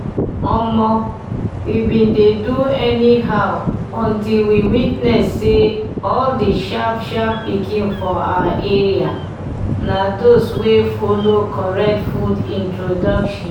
omo! we bin dey do anyhow until we witness say all the sharp-sharp pikin for our area na those wey follow correct food introduction